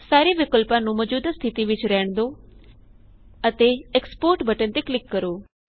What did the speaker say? ਸਾਰੇ ਵਿਕਲਪਾਂ ਨੂੰ ਮੌਜੂਦਾ ਸਥਿਤੀ ਵਿੱਚ ਰਹਿਣ ਦੋ ਅਤੇ ਐਕਸਪੋਰਟ ਬਟਨ ਤੇ ਕਲਿਕ ਕਰੋ